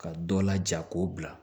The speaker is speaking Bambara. Ka dɔ laja k'o bila